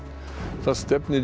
það stefnir í